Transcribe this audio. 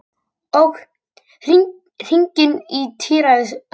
Ók hringinn á tíræðisaldri